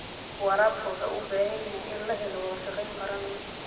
Waraabka waxa uu u baahan yahay in la helo wada shaqayn qaran.